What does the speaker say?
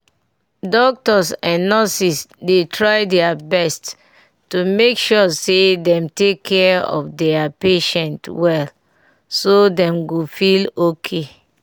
doctors and nurses dey try deir best to make sure say dem take care of deir patient wellso dem go feel okay.